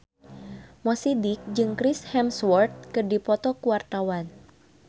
Mo Sidik jeung Chris Hemsworth keur dipoto ku wartawan